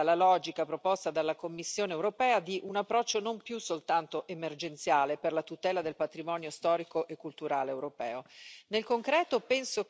ritengo che sia corretta la logica proposta dalla Commissione europea di un approccio non più soltanto emergenziale per la tutela del patrimonio storico e culturale europeo.